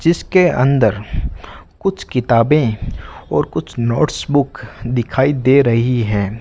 जिसके अंदर कुछ किताबें और कुछ नोट्स बुक दिखाई दे रही हैं।